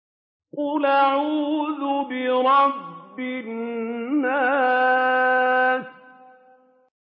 قُلْ أَعُوذُ بِرَبِّ النَّاسِ